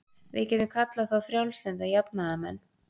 við getum kallað þá frjálslynda jafnaðarmenn